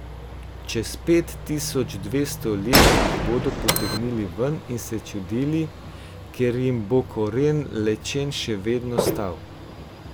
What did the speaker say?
Čez pet tisoč dvesto let jih bodo potegnili ven in se čudili, ker jim bo koren lečen še vedno stal.